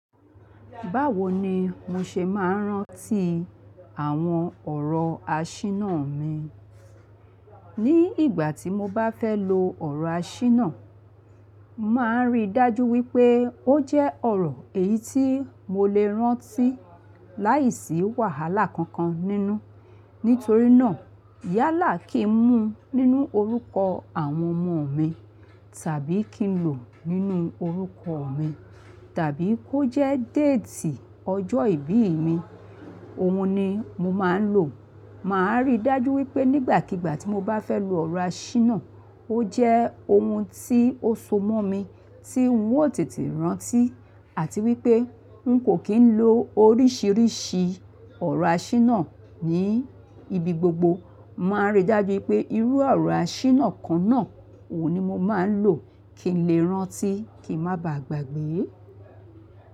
Báwo ni mo ṣe máa ń rántí àwọn ọ̀rọ̀ àṣínà mi? Ni ìgbà tí mo bá fẹ́ lo ọ̀rọ̀ àṣínà, mo màá rí dájú wípé ó jẹ́ ọ̀rọ̀ èyí tí mo lè rántí láìsí wàhálà kankan nínú. Nítorí náà, Yálà kì í mú nínú orúkọ àwọn ọmọ mi tàbí kì í lò nínú orúkọ mi, tàbí kó jẹ́ déètì ọjọ́ ìbí mi, òun ni mo máa ń lò. Màá rí dájú wípé nígbàkigbà tí mo bá fẹ́ lo ọ̀rọ̀ àṣínà, ó jẹ́ ohun tí ó so mọ́ mi, tí ń ò tètè rántí àti wípé ń kò kí ń lo oríṣìíríṣìí ọ̀rọ̀ àṣínà ní ibi gbogbo. Màá rí dájú pé irú ọ̀rọ̀ àṣínà kan náà, òun ni mo máa ń lò kí n lè rántí kí n má ba à gbàgbé.